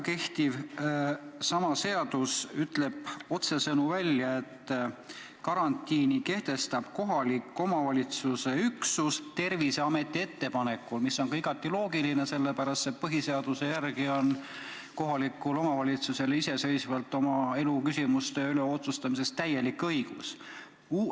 Kehtiv seadus ütleb otsesõnu välja, et karantiini kehtestab kohaliku omavalitsuse üksus Terviseameti ettepanekul, mis on ka igati loogiline, sest põhiseaduse järgi on kohalikul omavalitsusel iseseisvalt kohaliku elu küsimuste üle otsustamiseks täielik õigus.